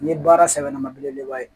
Ni ye baara sɛbɛlama belebeleba ye